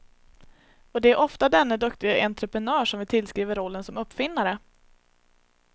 Och det är ofta denne duktige entreprenör som vi tillskriver rollen som uppfinnare.